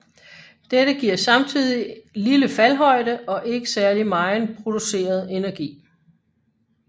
Dette giver samtidig lille faldhøjde og ikke særlig megen produceret energi